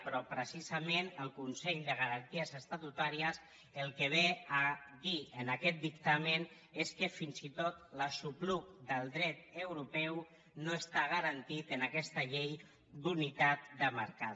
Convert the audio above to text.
però precisament el consell de garanties estatutàries el que ve a dir en aquest dictamen és que fins i tot l’aixopluc del dret europeu no està garantit en aquesta llei d’unitat de mercat